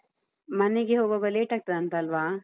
ಮನೆಗೆ ಹೋಗ್ವಾಗ late ಆಗ್ತದಾಂತಲ್ವಾ?